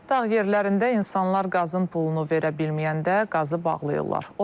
Dağ yerlərində insanlar qazın pulunu verə bilməyəndə qazı bağlayırlar.